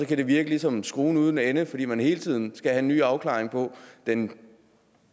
det virke ligesom skruen uden ende fordi man hele tiden skal have en ny afklaring på den